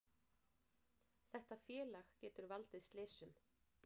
Þetta félag getur valdið slysum,